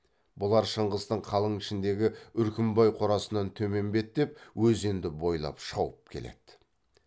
бұлар шыңғыстың қалың ішіндегі үркімбай қорасынан төмен беттеп өзенді бойлап шауып келеді